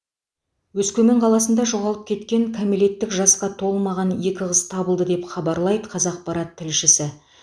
өскемен қаласында жоғалып кеткен кәмелеттік жасқа толмаған екі қыз табылды деп хабарлайды қазақпарат тілшісі